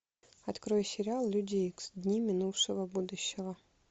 открой сериал люди икс дни минувшего будущего